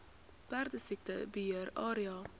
perdesiekte beheer area